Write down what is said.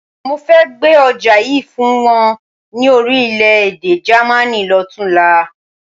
Mo fẹ́ gbé ọjà yìí fún wọn ní Orílẹ̀-èdè Jàmaní lọ́tunla.